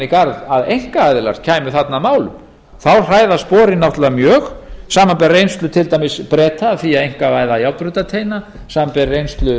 garð að einkaaðila kæmu þarna að málum þá hræða sporin mjög samanber reynslu til dæmis breta af því að einkavæða járnbrautarteina samanber reynslu